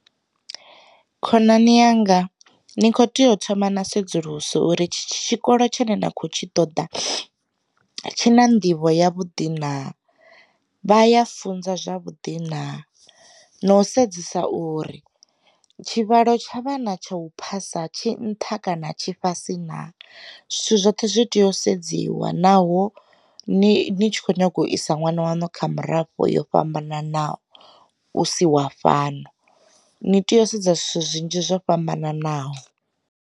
Khonani yanga, ni kho tea u thoma na sedzulusa uri itshi tshikolo tshine na khou tshi ṱoḓa tshi na nḓivho ya vhuḓi na, vha ya funza zwavhuḓi na, no u sedzesa uri tshivhalo tshavhana tsha u phasa tshi nṱha kana tshi fhasi na, zwithu zwoṱhe zwi tea sedziwa naho ni tshi kho nyaga u isa ṅwana wanu kha murafho yo fhambananaho u si wa fhano. Ni tea u sedza zwithu zwinzhi zwo fhambananaho.